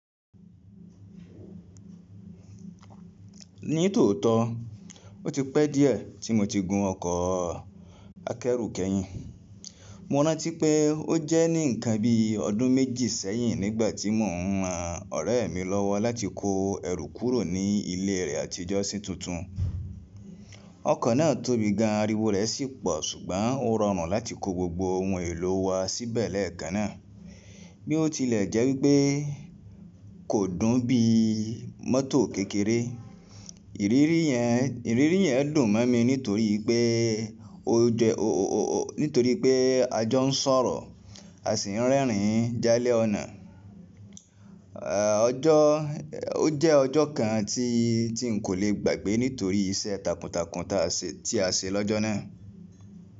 Ní tòótọ́, ó ti pẹ́ díẹ̀ tí mo ti gun ọkọ̀ akẹ́rù kẹ́yìn. Mo rántí pé ó jẹ́ ní ǹkan bí ọdún méjì sẹ́yìn nígbà tí mò ń ran ọ̀rẹ́ mi lọ́wọ́ láti kó ẹrù kúrò ní ilé rẹ̀ àtijọ́ sí tuntun. Ọkọ̀ náà tóbi gan, ariwo rẹ̀ sì pọ̀ ṣùgbọ́n ó rọrùn láti kó gbogbo ohun èlò wa síbẹ̀ lẹ́ẹ̀kan náà. Bí ó tilẹ̀ jẹ́ wípé kò dùn bí mótò kékeré, ìrírí yẹn dùn mọ́ mi no torii pé nítorí pé a jọ ń sọ̀rọ̀ a sì ń rẹ́rìn jálẹ́ ọ̀nà. Ó jẹ́ ọjọ́ kan tí n kò lè gbàgbé nítorí iṣẹ́ takuntakun tí a ṣe lọ́jọ́ náà.